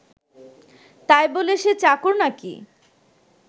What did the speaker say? তাই বলে সে চাকর নাকি